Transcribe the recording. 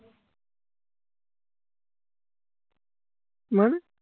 মানে